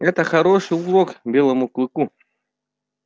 это хороший урок белому клыку